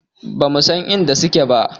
Ba mu san inda suke ba